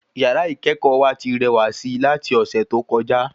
Yàrá ikẹkọ wa ti rẹwà sí lati ọsẹ tó kọjá